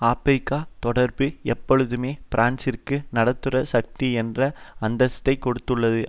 ஆபிரிக்க தொடர்பு எப்பொழுதுமே பிரான்சிற்கு நடுத்தர சக்தி என்ற அந்தஸ்தைக் கொடுத்துள்ளது